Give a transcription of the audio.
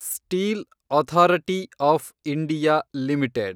steel authority of India limited